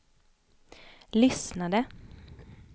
lyssnade